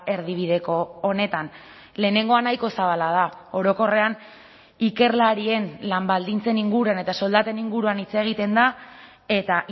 erdibideko honetan lehenengoa nahiko zabala da orokorrean ikerlarien lan baldintzen inguruan eta soldaten inguruan hitz egiten da eta